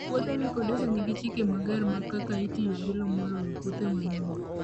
Puothe mikodesha nigi chike mager mag kaka itiyogi lowo moloyo puothe ma nono.